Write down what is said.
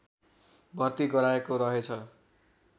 भर्ती गराएको रहेछ